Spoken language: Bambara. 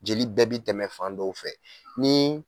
Jeli bɛɛ bi tɛmɛ fan dɔw fɛ. Ni